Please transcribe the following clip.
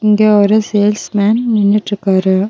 இங்க ஒரு சேல்ஸ்மேன் நின்னுட்ருக்காரு.